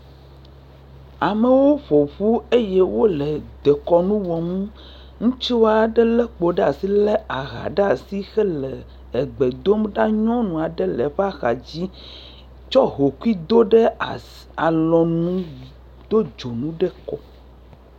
Amewo ƒoƒu eye wole dekɔnunu wɔm. Ŋutsu aɖe le kpo ɖe asi, le aha ɖe asi hele egbe dom ɖa. nyɔnu aɖe le eƒɔe axa dzi trsɔ hokui do ɖe asi, alɔnu, do dzonu ɖe kɔ.